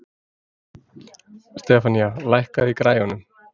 Stefanía, lækkaðu í græjunum.